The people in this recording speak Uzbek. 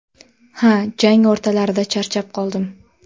Ha, jang o‘rtalarida charchab qoldim.